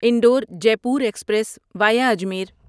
Indore Jaipur express via Ajmer